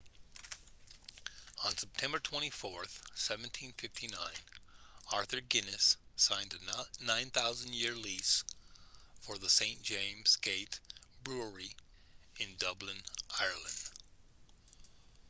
on september 24 1759 arthur guinness signed a 9,000 year lease for the st james' gate brewery in dublin ireland